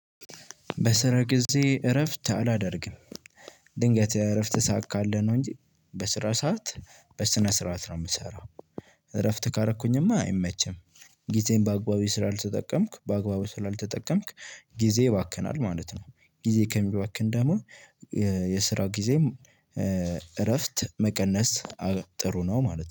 በስራ ጊዜ እረፍት አላደርግም። ድንገት እረፍት ሰዓት ካለ ነው እንጂ በስራ ሰዓት በስነ ስርዓት ነው የምሰራው እረፍት ካረኩኝማ አይመችም። ጊዜን በአግባቡ ስላልተጠቀምክ በአግባቡ ስላልተጠቀምክ ጊዜ ይባክናል ማለት ነው። ጊዜ ከሚባክን ደግሞ የስራ ጊዜም እረፍት መቀነስ ጥሩ ነው ማለት ነው